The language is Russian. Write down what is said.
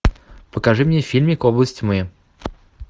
покажи мне фильмик область тьмы